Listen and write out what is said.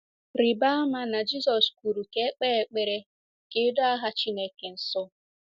Rịba ama na Jizọs kwuru ka e kpee ekpere ka e doo aha Chineke nsọ.